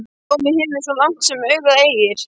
Blámi á himni svo langt sem augað eygir.